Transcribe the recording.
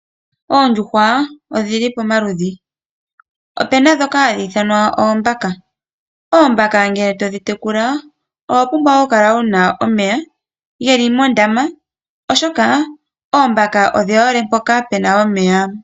Oondjuhwa odhi li pamaludhi. Ope na dhoka hadhi ithanwa oombaka. Oombaka ngele to dhi tekula owa pumbwa okukala wu na omeya, geli mondama oshoka oombaka odhi hole mpoka puna omeya.